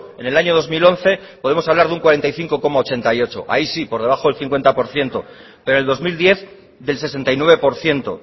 en el año dos mil once podemos hablar de un cuarenta y cinco coma ochenta y ocho ahí sí por debajo del cincuenta por ciento pero el dos mil diez del sesenta y nueve por ciento